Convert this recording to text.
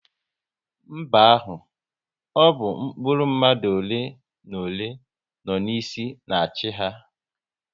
N'mba ahụ, ọ bụ mkpụrụ mmadụ ole na ole, nọ n'isi na achị ha